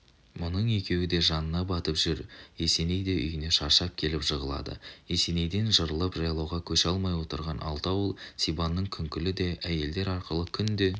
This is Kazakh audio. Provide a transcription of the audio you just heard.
мұның екеуі де жанына батып жүр есеней де үйіне шаршап келіп жығылады есенейден жырылып жайлауға көше алмай отырған алты ауыл сибанның күңкілі де әйелдер арқылы күнде